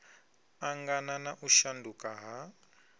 angana na u shanduka ha